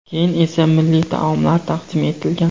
Keyin esa milliy taomlar taqdim etilgan.